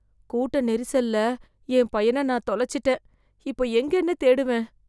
கூட்ட நெரிசல்ல என் பையன நான் தொளச்சிட்டேன் இப்போ எங்கேன்னு தேடுவேன்